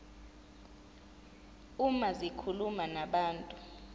uma zikhuluma nabantu